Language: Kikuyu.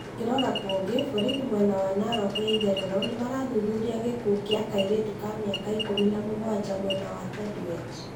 Tukirora kũnge, borithi mwena wa Naroko ya itherero nĩ marathuthuria gĩkuũ kĩa kairĩtu ka mĩaka ikũmina mũgwanja mwena wa Tendwet.